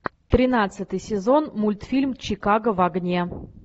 тринадцатый сезон мультфильм чикаго в огне